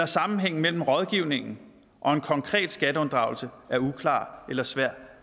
sammenhængen mellem rådgivningen og en konkret skatteunddragelse er uklar eller svær